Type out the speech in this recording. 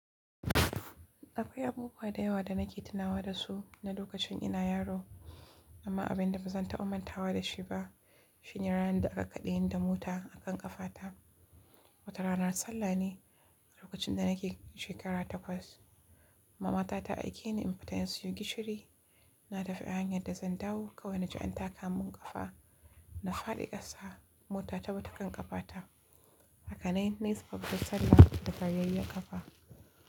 Akwai abubuwa da yawa da nake tunawa da su na lokacin ina yaro, amma abin da bazan taɓa mantawa da shi ba shine ranar da aka kaɗe ni da mota a kan ƙafata. Wata ranar sallah ne a lokacin da nake shekara takwas. Mama ta aike ni in fita in sayo gishiri. Na tafi hanyar da zan dawo kawai na ji an taka mun ƙafa. Na fadi ƙasa, mota ta bi ta kan ƙafata. Haka nai, nai tsaf da sallah da garyayyen ƙafa.